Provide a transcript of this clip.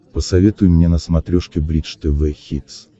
посоветуй мне на смотрешке бридж тв хитс